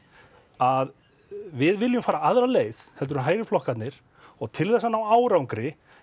að við viljum fara aðra leið en hægri flokkarnir og til þess að ná árangri